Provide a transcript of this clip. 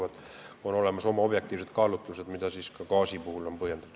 Selleks on olemas objektiivsed kaalutlused, mida gaasist rääkides on ka põhjendatud.